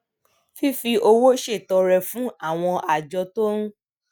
fífi owó ṣètọrẹ fún àwọn àjọ tó ń